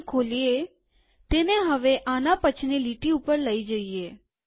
તેને ખોલીએતેને હવે આના પછીની લીટી ઉપર લઇ જઈએ